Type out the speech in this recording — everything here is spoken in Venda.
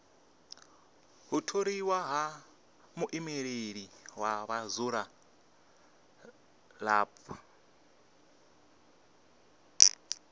u tholiwa ha muimeleli wa vhadzulapo